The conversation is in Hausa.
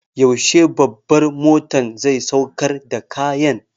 Yaushe babbar motan zai sauƙar da kayan?